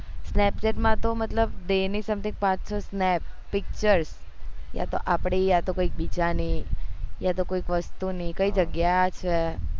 snapchat માં તો મતલબ day ની something પાચ છ snap picture કાતો આપડી કાતો કોઈ બીજા ની આતો કોઈ વસ્તુ ની કઈ જગ્યા છે